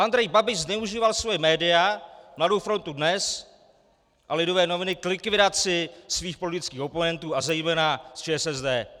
Andrej Babiš zneužíval svá média, Mladou frontu Dnes a Lidové noviny, k likvidaci svých politických oponentů a zejména z ČSSD.